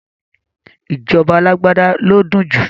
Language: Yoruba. Ìjọba alágbádá ló dùn jù